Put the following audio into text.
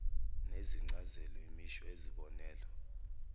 nezincazelo imisho yezibonelo